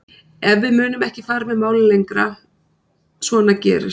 En við munum ekki fara með málið lengra, svona gerist